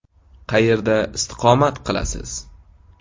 Qayerda istiqomat qilasiz?